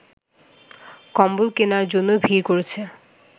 কম্বল কেনার জন্য ভিড় করছে